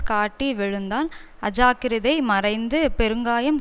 காட்டி விழுந்தான் அஜாக்கிரதை மறைந்து பெருங்காயம்